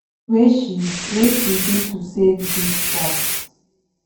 wey she wey she do to save dis strikes